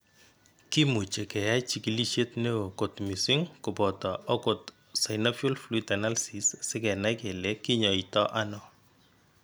Kimuche keyai chigilisiet neo kot missing kopoto ogot synovial fluid analysis sigenai kele kinyaito ano.